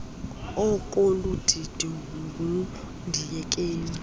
ekolu didi ngundiyekeni